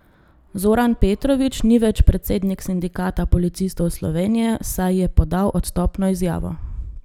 Zoran Petrovič ni več predsednik Sindikata policistov Slovenije, saj je podal odstopno izjavo.